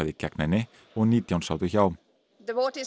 gegn henni og nítján sátu hjá